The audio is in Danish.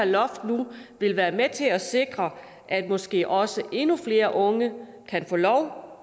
loft nu vil være med til at sikre at måske også endnu flere unge kan få lov